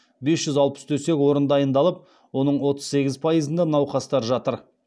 бес жүз алпыс төсек орын дайындалып оның отыз сегіз пайызында науқастар жатыр